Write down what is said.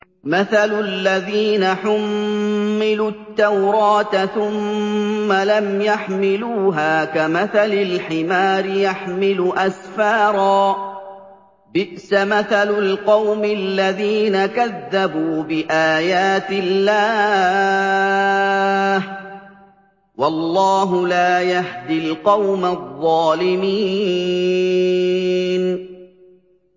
مَثَلُ الَّذِينَ حُمِّلُوا التَّوْرَاةَ ثُمَّ لَمْ يَحْمِلُوهَا كَمَثَلِ الْحِمَارِ يَحْمِلُ أَسْفَارًا ۚ بِئْسَ مَثَلُ الْقَوْمِ الَّذِينَ كَذَّبُوا بِآيَاتِ اللَّهِ ۚ وَاللَّهُ لَا يَهْدِي الْقَوْمَ الظَّالِمِينَ